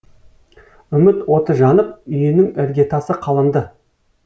үміт оты жанып үйінің іргетасы қаланды